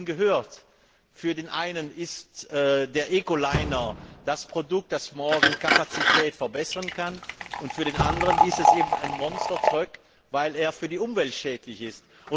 Wir haben es eben gehört Für den einen ist der Eco Liner das Produkt, das morgen Kapazität verbessern kann, und für den anderen ist er ein Monster Truck, weil er für die Umwelt schädlich ist.